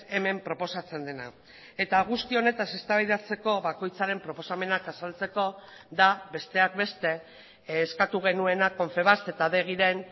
hemen proposatzen dena eta guzti honetaz eztabaidatzeko bakoitzaren proposamenak azaltzeko da besteak beste eskatu genuena confebask eta adegiren